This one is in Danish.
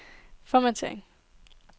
formattering